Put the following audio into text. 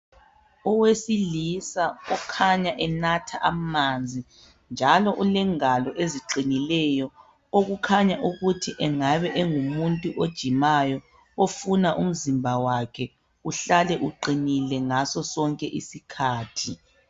Owesilisa okhanya enatha amanzi njalo ulengalo eziqinileyo okukhanya ukuthi engabe engumuntu ojimayo ofuna umzimba wakhe uhlale uqinile ngaso sonke isikhathi.